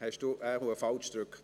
Sie haben wohl falsch gedrückt.